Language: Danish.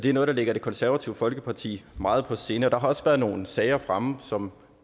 er noget der ligger det konservative folkeparti meget på sinde og der har også været nogle sager fremme som